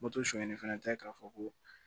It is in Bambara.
Moto suɲɛli fɛnɛ tɛ k'a fɔ ko